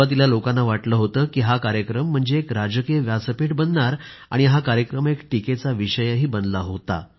सुरुवातीला लोकांना वाटलं होतं की हा कार्यक्रम म्हणजे एक राजकीय व्यासपीठ बनणार आणि हा कार्यक्रम एक टीकेचा विषयही बनला होता